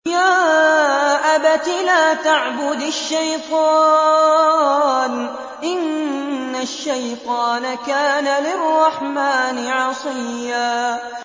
يَا أَبَتِ لَا تَعْبُدِ الشَّيْطَانَ ۖ إِنَّ الشَّيْطَانَ كَانَ لِلرَّحْمَٰنِ عَصِيًّا